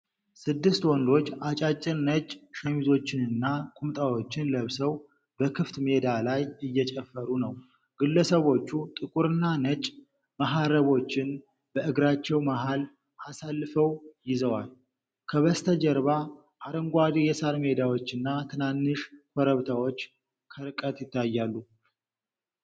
ስድስት ወንዶች አጫጭር ነጭ ሸሚዞችንና ቁምጣዎችን ለብሰው በክፍት ሜዳ ላይ እየጨፈሩ ነው። ግለሰቦቹ ጥቁርና ነጭ መሃረቦችን በእግራቸው መሃል አሳልፈው ይዘዋል። ከበስተጀርባ አረንጓዴ የሳር ሜዳዎችና ትናንሽ ኮረብታዎች ከርቀት ይታያሉ።